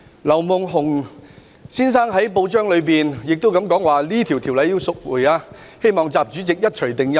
劉夢熊先生在報章表示，《條例草案》應該撤回，希望習主席一錘定音。